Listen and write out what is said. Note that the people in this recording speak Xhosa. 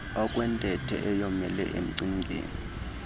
okwentethe eyomele emcingeni